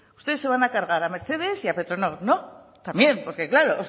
ustedes se van a cargar a mercedes y a petronor no también porque claro